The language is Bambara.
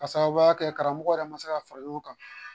Ka sababuya kɛ karamɔgɔ yɛrɛ ma se ka fara ɲɔgɔn kan